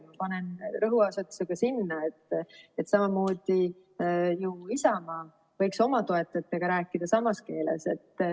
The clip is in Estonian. Ma panen rõhuasetuse ka sinna, et samamoodi võiks ju Isamaa oma toetajatega rääkida samas keeles.